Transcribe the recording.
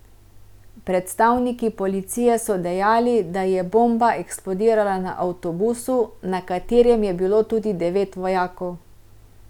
Predstavniki policije so dejali, da je bomba eksplodirala na avtobusu, na katerem je bilo tudi devet vojakov.